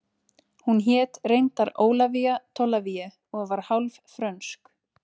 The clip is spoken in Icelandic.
Hún hét reyndar Ólafía Tolafie og var hálf frönsk